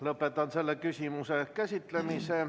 Lõpetan selle küsimuse käsitlemise.